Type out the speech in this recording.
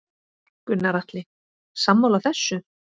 Gunnar Atli: Sammála þessu?